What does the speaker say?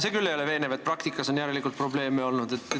See küll veenev ei ole, et järelikult on praktikas probleeme olnud.